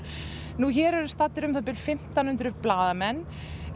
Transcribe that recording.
nú hér eru staddir um það bil fimmtán hundruð blaðamenn